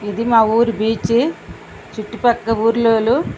ఇది మా ఊరు బీచ్ . చుట్టుపక్క ఊర్లోలు --